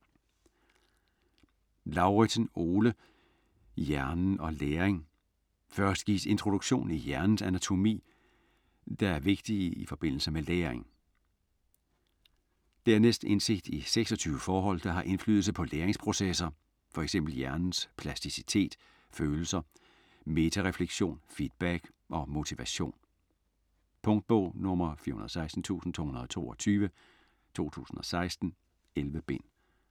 Lauridsen, Ole: Hjernen og læring Først gives introduktion i hjernens anatomi, der er vigtige i forbindelse med læring. Dernæst indsigt i 26 forhold, der har indflydelse på læringsprocesser, fx hjernens plasticitet, følelser, metarefleksion, feedback og motivation. Punktbog 416222 2016. 11 bind.